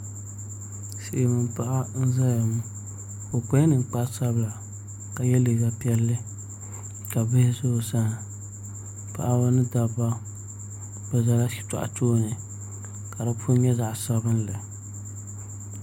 Silmiin paɣa n ʒɛya ŋɔ o kpala ninkpari sabila ka yɛ liiga piɛlli ka bihi ʒɛ o sani paɣaba ni dabba bi ʒɛla shitɔɣu tooni ka di puni nyɛ zaɣ sabinli